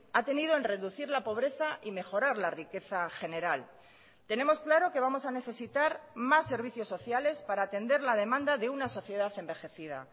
ha tenido en reducir la pobreza y mejorar la riqueza general tenemos claro que vamos a necesitar más servicios sociales para atender la demanda de una sociedad envejecida